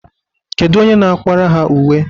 Kedu onye na-akwara ha uwe?